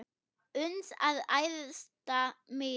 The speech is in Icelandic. uns að æðsta miði